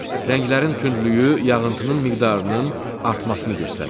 Rənglərin tündlüyü yağıntının miqdarının artmasını göstərir.